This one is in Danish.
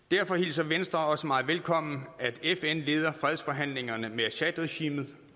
derfor hilser venstre også meget velkommen at fn leder fredsforhandlingerne med assadregimet